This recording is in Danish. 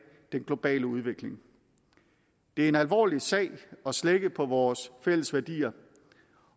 den globale udvikling det er en alvorlig sag at slække på vores fælles værdier